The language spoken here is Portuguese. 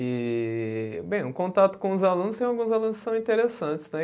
E, bem, um contato com os alunos, tem alguns alunos que são interessantes, né?